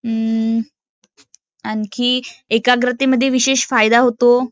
अं आणखी एकाग्रतेमध्ये विशेष फायदा होतो